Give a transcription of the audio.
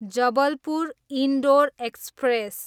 Jabalpur, Indore express